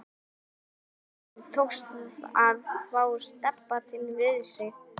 Æ, henni tókst að fá Stebba til við sig.